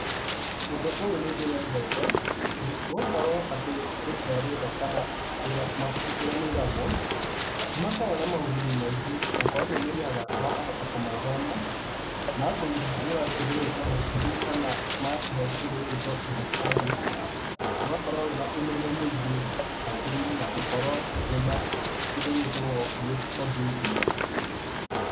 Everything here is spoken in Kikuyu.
Ũndũ ũyũ nĩ ndĩwendete, nĩ gũkorwo atĩ lĩbrarĩ ĩno kana kũrĩa mabuku kũrĩa maigagwo, nĩ makorwo maũguni maingĩ okorwo nĩ ũmenyaga na ũkahota kũmathoma, magakũhingũra kĩndũ gĩgũĩtwo hakiri kana magakuhee kĩndũ gĩgũĩtwo understanding, ugakorwo wĩna ũmenyo mũingĩ hakiri-inĩ na ũgakorwo wĩna kĩndũ gĩĩtagwo critical thinking.